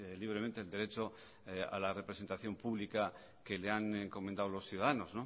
libremente el derecho a la representación pública que le han encomendado los ciudadanos